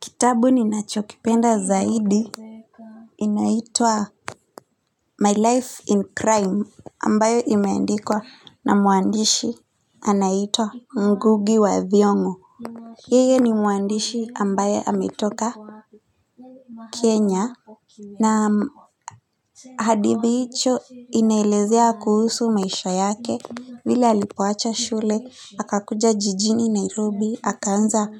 Kitabu ninachokipenda zaidi inaitwa My life in crime ambayo imeandikwa na mwandishi anaitwa Ngugi wa thiongo yeye ni mwandishi ambaye ametoka Kenya na hadithi hicho inaelezea kuhusu maisha yake vile alipoacha shule akakuja jijini Nairobi akaanza